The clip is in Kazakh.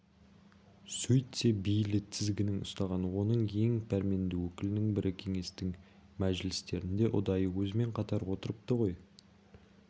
сөйтсе бейли тізгінін ұстаған оның ең пәрменді өкілінің бірі кеңестің мәжілістерінде ұдайы өзімен қатар отырыпты ғой